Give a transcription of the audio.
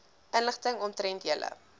inligting omtrent julle